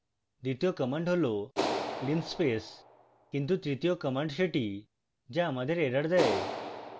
দ্বিতীয় command হল linspace কিন্তু তৃতীয় command সেটি the আমাদের এরর দেয়